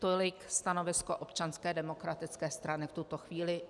Tolik stanovisko Občanské demokratické strany v tuto chvíli.